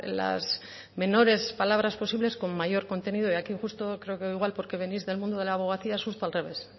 las menores palabras posibles con mayor contenido y aquí justo creo que igual porque venís del mundo de la abogacía es justo al revés